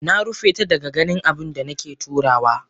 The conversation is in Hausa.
Narufeta daga ganin abunda nake turawa.